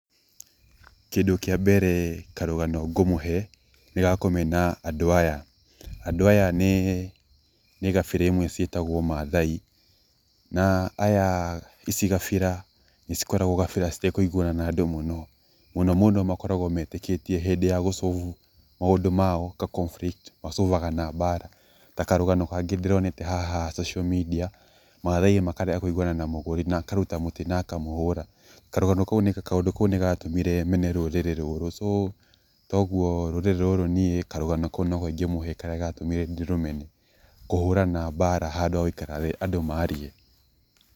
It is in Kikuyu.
Kĩndũ kĩa mbere karũgano ngũmũhe nĩ gakũmena andũ aya. Andũ aya nĩ gabira imwe ciĩtagwo mathai, na aya ici gabira nĩ cikoragwo gabira citekũiguana na andũ mũno, mũno mũno makoragwo metĩkĩtie hĩndĩ ya solve maũndũ ma mao ta conflict ma solve aga na mbara. Ta karũgano kangĩ ndĩronete haha social media mathai makarega kũiguana na mũgũri na akaruta mũtĩ na akamũhũra. Karũgano kaũndũ kau nĩgatũmire mene rũrĩrĩ rũrũ so koguo rũrĩrĩ rũrũ niĩ karũgano kau nĩho ingĩmũhe karĩa gatũmire ndĩrũmene kũhũrana mbara handũ ha gũikara thĩ andũ marĩe.